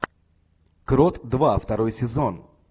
крот два второй сезон